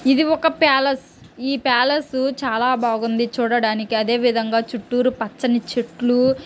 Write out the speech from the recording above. ఇది ఒక పాలస్ ఈ పాలస్ చాలా బాగుంది చూడడానికి ఆదేవిధంగా చుట్టురు పచ్చని చెట్లు---